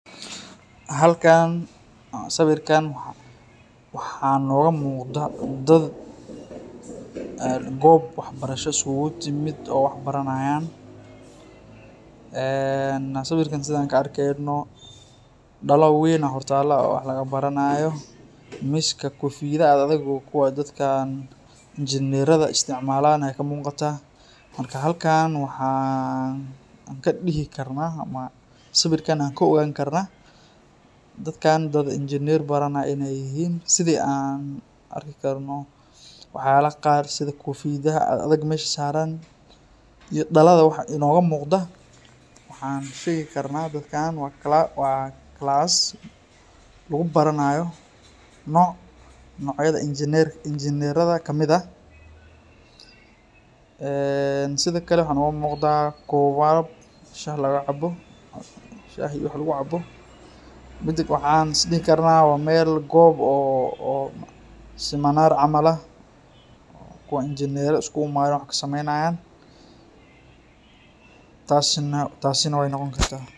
Halkan, siwirkankan waxa nogamuqda dad gob waxbarasha iskugu timit, oo wax baranayan. siwirka sidhan kaa arkeyneyno dala weyn aya hortalo oo wax laga baranayo .miska kofiyada ad adag oo kuwa injiniyerada istacmalan aya kamuqata. Halkan waxan kadihi karna siwirkan an kaa ogani karna dadakan dad injineyar baranay inay yihin sidhi an arki karno waxyabaha qar sidi kofiyadaha ad adag melaha saran, iyo dalada waxa inoga muqdo waxan shegi karna dadkan waa class lagubaranayo noc nocyada injinireda kamid ah. sidhiokale waxa noga muqda kowab shah iyo wax lagu cabo midi kale waxan is dihi karna wa gob siminar camal ah, kuwa injinera iskuguimade wax kusameynayan tasi nah waay noqoni karta.